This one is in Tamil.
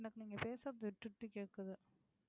எனக்கு நீங்க பேசறது விட்டுட்டு கேட்குது.